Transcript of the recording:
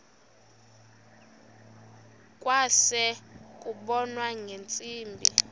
kwase kubonwa ngeentsimbi